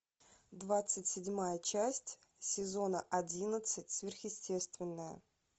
двадцать седьмая часть сезона одиннадцать сверхъестественное